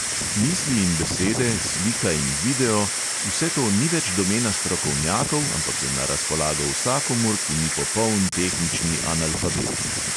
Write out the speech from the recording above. Misli in besede, slika in video, vse to ni več domena strokovnjakov, ampak je na razpolago vsakomur, ki ni popoln tehnični analfabet.